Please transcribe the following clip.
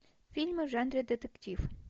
фильмы в жанре детектив